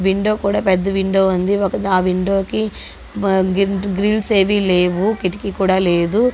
Window కూడా పెద్ద window ఉంది. ఒక -ఆ విండో కి ఆ గ్రిల్స్ ఏవి లేవు కిటికీ కూడా లేదు.